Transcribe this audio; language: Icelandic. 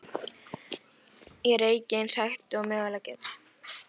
Ég reyki eins hægt og ég mögulega get.